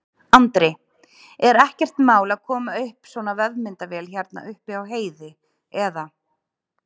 Andri: Er ekkert mál að koma upp svona vefmyndavél hérna uppi á heiði, eða?